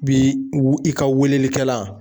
Bi i ka weleli kɛlan